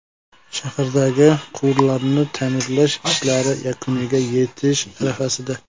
Shahardagi quvurlarni ta’mirlash ishlari yakuniga yetish arafasida.